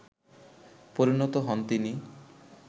পরিণত হন তিনি